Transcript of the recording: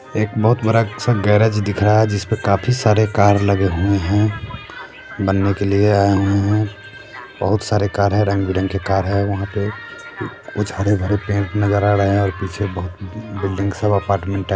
एक बहुत बड़ा अच्छा गैरेज दिख रहा है जिसपे काफी सारे कार लगे हुए हैं बनने के लिए आये हुए हैं बहुत सारे कार है रंग बिरंगी कार है वहाँ पे कुछ हरे भरे पेड़ भी नजर आ रहे हैं और पीछे बहुत बिल्डिंग सब अपार्टमेन्ट है।